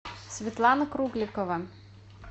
светлана кругликова